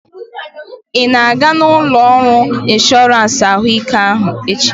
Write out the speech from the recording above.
Ina aga ụlọ ọrụ ịnshọransị ahụ ike echi?